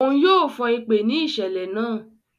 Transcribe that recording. Òún yóò fon ipè ni iṣẹlẹ náà